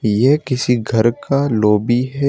ये किसी घर का लॉबी है।